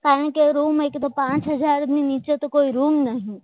કારણકે રૂમ એક તો પાંચ હજારની નીચે તો કોઈ રૂમ નથી